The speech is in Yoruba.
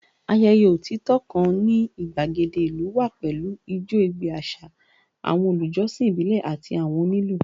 Ayẹyẹ otitọ kan ni igbagede ilu wa pẹlu ijó ẹgbẹ aṣa, awọn olujọsin ibile ati awọn onilu